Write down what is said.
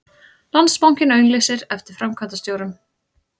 Landsbankinn auglýsir eftir framkvæmdastjórum